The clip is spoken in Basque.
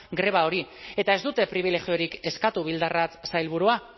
greba hori eta ez dute pribilegiorik eskatu bildarratz sailburua